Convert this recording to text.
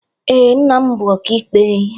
Ee, nna m bụ ọkaikpe.